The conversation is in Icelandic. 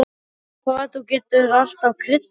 Og hvað þú getur alltaf kryddað þetta!